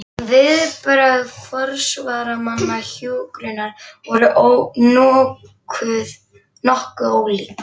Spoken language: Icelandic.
Viðbrögð forsvarsmanna hjúkrunar voru nokkuð ólík.